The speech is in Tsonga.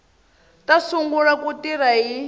ta sungula ku tirha hi